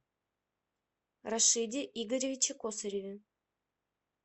рашиде игоревиче косареве